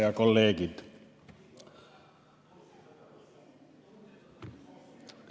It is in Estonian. Head kolleegid!